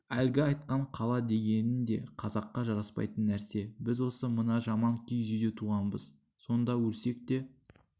әлгі айтқан қала дегенің де қазаққа жараспайтын нәрсе біз осы мына жаман киіз үйде туғанбыз сонда өлсек те